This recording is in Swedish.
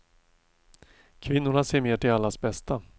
Kvinnorna ser mer till allas bästa.